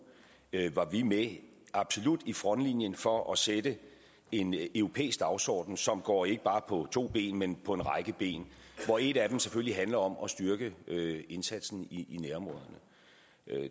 var vi med absolut i frontlinjen for at sætte en europæisk dagsorden som går ikke bare på to ben men på en række ben hvor et af dem selvfølgelig handler om at styrke indsatsen i nærområderne